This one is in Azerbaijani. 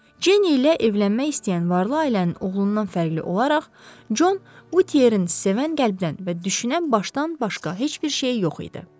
Cenni ilə evlənmək istəyən varlı ailənin oğlundan fərqli olaraq, Jon Utiyerin sevən qəlbdən və düşünən başdan başqa heç bir şeyi yox idi.